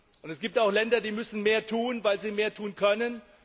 Und es gibt auch Länder, die müssen mehr tun, weil sie mehr tun können.